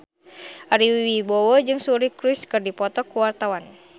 Ari Wibowo jeung Suri Cruise keur dipoto ku wartawan